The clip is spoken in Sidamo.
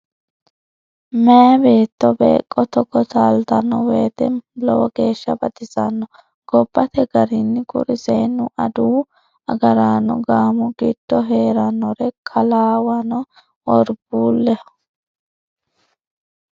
Meeye beetto beeqo togo taaltano woyte lowo geeshsha baxisano gobbate garinni kuri seennu adawu agaraano gaamo giddo heeranore kalawano worbuleho